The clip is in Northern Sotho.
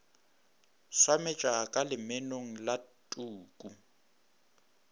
swametša ka lemenong la tuku